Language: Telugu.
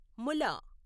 ముల